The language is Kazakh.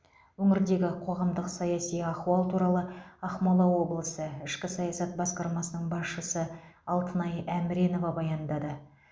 өңірдегі қоғамдық саяси ахуал туралы ақмола облысы ішкі саясат басқармасының басшысы алтынай әміренова баяндады